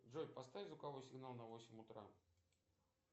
джой поставь звуковой сигнал на восемь утра